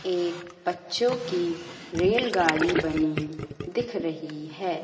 एक बच्चों की रेल गाड़ी बनी दिख रही हैं।